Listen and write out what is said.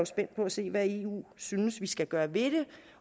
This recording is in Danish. spændt på at se hvad eu synes vi skal gøre ved det